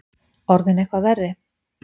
Orðinn eitthvað verri?